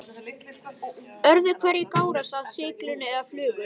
Öðru hverju gárast það af silungi eða flugu.